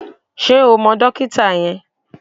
Ṣé o mọ dókítà yẹn?